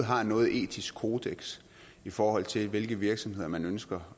har noget etisk kodeks i forhold til hvilke virksomheder man ønsker